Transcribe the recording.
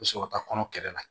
U bɛ sɔrɔ ka taa kɔnɔ kɛlɛ la